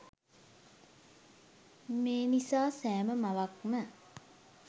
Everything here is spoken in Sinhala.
මේ නිසා සෑම මවක්ම